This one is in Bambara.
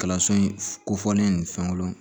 Kalanso in kofɔlen nin fɛnw